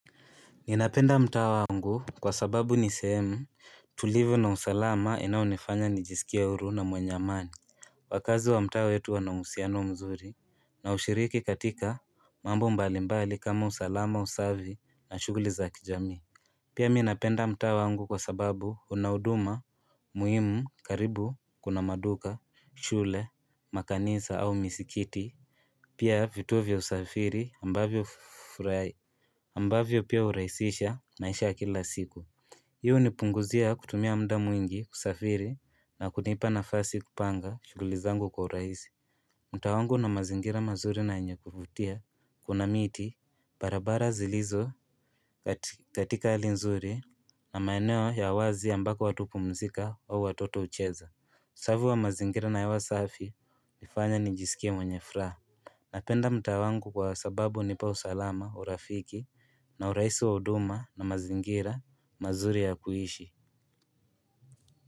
Ninapenda mtaa wangu kwa sababu ni sehemu tulivu na usalama inayonifanya nijisikie huru na mwenye amani. Wakazi wa mtaa wetu wana uhusiano mzuri wanaoushiriki katika mambo mbalimbali kama usalama, usafi na shughuli za kijamii. Pia mi napenda mtaa wangu kwa sababu una huduma muhimu, karibu kuna maduka, shule, makanisa au misikiti Pia vituo vya usafiri ambavyo pia hurahisisha maisha ya kila siku. Hii hunipunguzia kutumia muda mwingi kusafiri na kunipa nafasi kupanga shughuli zangu kwa urahisi. Mtaa wangu una mazingira mazuri na yenye kuvutia, kuna miti barabara zilizo katika hali nzuri na maeneo ya wazi ambapo watu hupumzika au watoto hucheza. Usafi wa mazingira na hewa safi hunifanya nijisikie mwenye furaha Napenda mtaa wangu kwa sababu hunipa usalama, urafiki na urahisi wa huduma na mazingira mazuri ya kuishi.